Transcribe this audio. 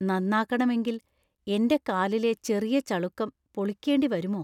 നന്നാക്കണമെങ്കിൽ എന്‍റെ കാറിലെ ചെറിയ ചളുക്കം പൊളിക്കേണ്ടി വരുമോ?